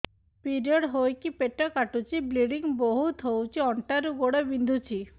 period ହୋଇକି ପେଟ କାଟୁଛି ବ୍ଲିଡ଼ିଙ୍ଗ ବହୁତ ହଉଚି ଅଣ୍ଟା ରୁ ଗୋଡ ବିନ୍ଧୁଛି